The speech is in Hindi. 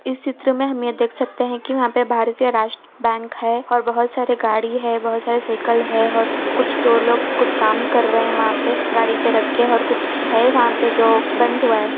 इस चित्र में हम ये देख सकते हैं कि वहाँ पे भारतीय राष्ट बैंक है और बहोत सारे गाड़ी है बहोत सारे साइकल है और कुछ तो लोग कुछ काम कर रहे हैं वहाँ पे गाड़ी पे रख के और कुछ है वहाँ पे जो बंद हुआ है।